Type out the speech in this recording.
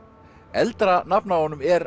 eldra nafn á honum er